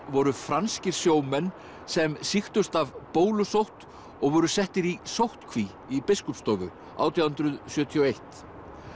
voru franskir sjómenn sem sýktust af bólusótt og voru settir í sóttkví í Biskupsstofu átján hundruð sjötíu og eitt